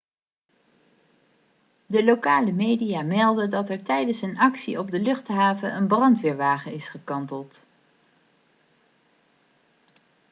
de lokale media meldt dat er tijdens een actie op de luchthaven een brandweerwagen is gekanteld